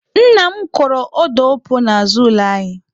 Nna m kọrọ ọda opuo n'azụ ụlọ anyị.